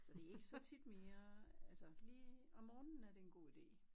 Så det er ikke så tit mere altså lige om morgenen er det en god ide